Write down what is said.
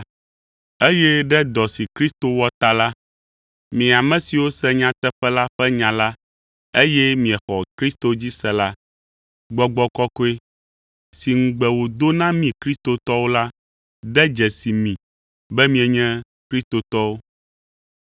Eye ɖe dɔ si Kristo wɔ ta la, mi ame siwo se nyateƒe la ƒe nya la, eye miexɔ Kristo dzi se la, Gbɔgbɔ Kɔkɔe si ŋugbe wòdo na mí kristotɔwo la de dzesi mi be mienye kristotɔwo.